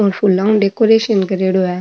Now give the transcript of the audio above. और फुल्लां ऊ डेकोरेशन करेड़ों है।